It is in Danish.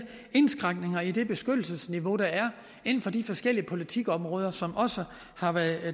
indskrænkninger i det beskyttelsesniveau der er inden for de forskellige politikområder som også har været